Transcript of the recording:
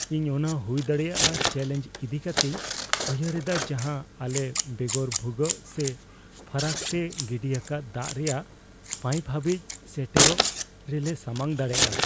ᱤᱧ ᱚᱱᱟ ᱦᱩᱭ ᱫᱟᱲᱮᱭᱟᱜ ᱪᱮᱞᱮᱧᱡᱽ ᱤᱫᱤ ᱠᱟᱛᱮᱧ ᱩᱭᱦᱟᱹᱨᱮᱫᱟ ᱡᱟᱦᱟᱸ ᱟᱞᱮ ᱵᱮᱜᱚᱨ ᱵᱷᱩᱜᱟᱹᱜ ᱥᱮ ᱯᱷᱟᱨᱟᱠ ᱛᱮ ᱜᱤᱰᱤ ᱟᱠᱟᱫ ᱫᱟᱜ ᱨᱮᱭᱟᱜ ᱯᱟᱭᱤᱯ ᱦᱟᱹᱵᱤᱡᱽ ᱥᱮᱴᱮᱨᱚᱜ ᱨᱮᱞᱮ ᱥᱟᱢᱟᱝ ᱫᱟᱲᱮᱭᱟᱜᱼᱟ ᱾